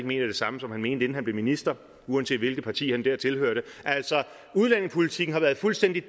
mener det samme som han mente inden han blev minister uanset hvilket parti han der tilhørte altså udlændingepolitikken har været fuldstændig